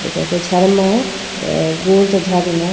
एकर के झरमा अ गोल से झरना --